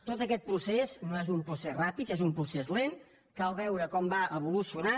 tot aquest procés no és un procés ràpid és un procés lent cal veure com va evolucionant